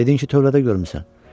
Dedin ki, tövlədə görmüsən.